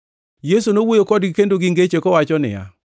Yesu nowuoyo kodgi kendo gi ngeche, kowacho niya,